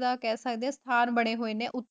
ਦਾ ਮਤਲੱਬ ਕਿ ਸਥਾਨ ਬਣੇ ਹੋਏ ਨੇ